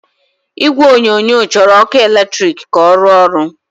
Igwe onyonyo chọrọ ọkụ eletrik ka ọ rụọ ọrụ.